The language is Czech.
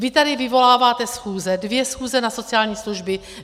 Vy tady vyvoláváte schůze, dvě schůze na sociální služby.